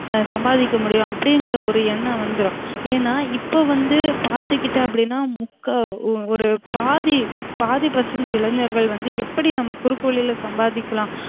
சம்பாதிக்க முடியும் அப்டிங்கிற ஒரு என்னம் வந்துரும் ஏன்னா இப்ப வந்து பாத்துகிட்டோம் அப்டினா முக்கா ஒரு பாதி பாதி percent இளைஞர்கள் வந்து நம்ம குறுக்கு வழில சம்பாதிக்கலாம்